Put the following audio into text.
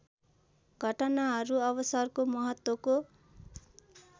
घटनाहरू अवसरको महत्त्वको